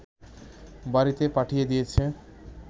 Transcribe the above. বাড়ীতে পাঠিয়ে দিয়েছে